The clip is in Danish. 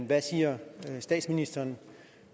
hvad siger statsministeren